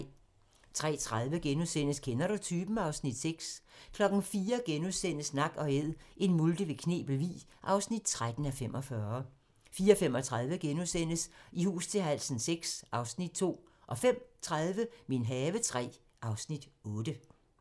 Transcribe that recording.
03:30: Kender du typen? (Afs. 6)* 04:00: Nak & Æd - en multe ved Knebel Vig (13:45)* 04:35: I hus til halsen VI (Afs. 2)* 05:30: Min have III (Afs. 8)